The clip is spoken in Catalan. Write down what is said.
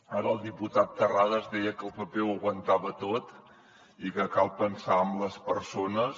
ara el diputat terrades deia que el paper no ho aguantava tot i que cal pensar en les persones